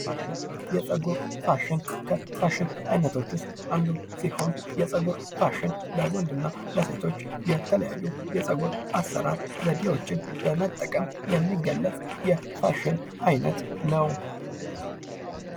ፋሽን የጸጉር ፋሽን ከፋሽን አይነቶች ውስጥ አንዱ ሲሆን የጸጉር ፋሺን ለወንድና ለሴቶች የተለያዩ የጸጉር አሰራር ዘዴዎችን በመጠቀም የሚገለጽ የፋሽን አይነት ነው።